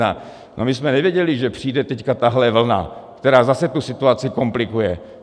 No my jsme nevěděli, že přijde teď tahle vlna, která zase tu situaci komplikuje.